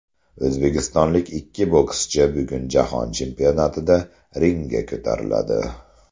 O‘zbekistonlik ikki bokschi bugun Jahon chempionatida ringga ko‘tariladi.